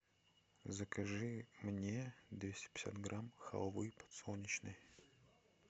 закажи мне двести пятьдесят грамм халвы подсолнечной